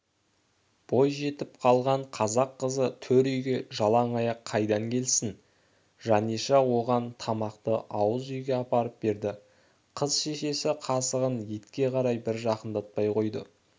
бой жетіп қалған қазақ қызы төр үйге жалаң аяқ қайдан келсін жаниша оған тамақты ауыз үйге апарып берді қыз шешесі қасығын етке қарай бір жақындатпай қойды